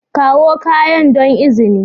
Kawo kayan don izini